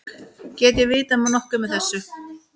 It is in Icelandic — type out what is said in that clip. Get ég vitað nokkuð með vissu?